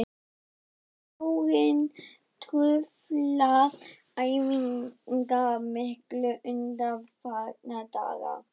Hefur snjórinn truflað æfingar mikið undanfarna daga?